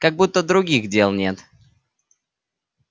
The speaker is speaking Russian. как будто других дел нет